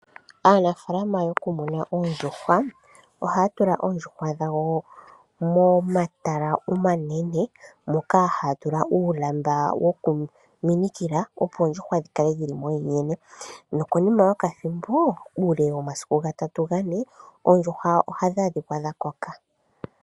Aanafaalama yokumuna oondjuhwa ohaya tula oondjuhwa dhawo momatala omanene moka haya tula uulamba wokuminikila opo oondjuhwa dhi kale dhili momundjene nokonima yokathimbo uule womasiku gatatu gane oondjuhwa ohadhi adhika dha koka.